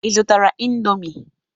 Ị zụtara indọmii?